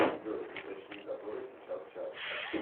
джой уточни который сейчас час